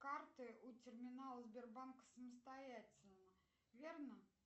карты у терминала сбербанка самостоятельно верно